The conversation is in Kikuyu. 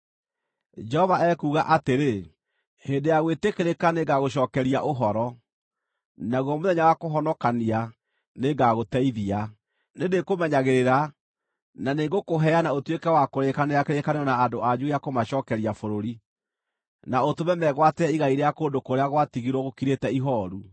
Jehova ekuuga atĩrĩ, “Hĩndĩ ya gwĩtĩkĩrĩka, nĩngagũcookeria ũhoro, naguo mũthenya wa kũhonokania, nĩngagũteithia; nĩndĩkũmenyagĩrĩra, na nĩngũkũheana ũtuĩke wa kũrĩkanĩra kĩrĩkanĩro na andũ anyu gĩa kũmacookeria bũrũri, na ũtũme megwatĩre igai rĩa kũndũ kũrĩa gwatigirwo gũkirĩte ihooru,